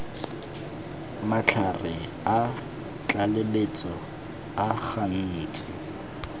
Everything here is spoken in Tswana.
matlhare a tlaleletso a gantsi